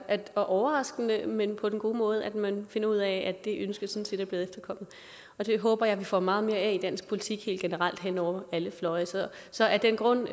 og overraskende men på den gode måde at man finder ud af at det ønske sådan set er blevet efterkommet og det håber jeg vi får meget mere af i dansk politik helt generelt hen over alle fløje så af den grund